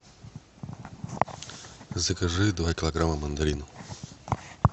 закажи два килограмма мандарин